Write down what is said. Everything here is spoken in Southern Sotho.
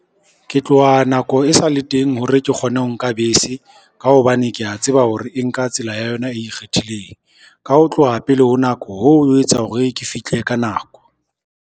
Ke tloha nako e sale teng hore ke kgone ho nka bese, ka hobane kea tseba hore e nka tsela ya yona e ikgethileng. Ka ho tloha pele ho nako, hoo ho etsa hore ke fihle ka nako.